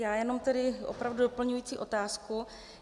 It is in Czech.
Já jenom tedy opravdu doplňující otázku.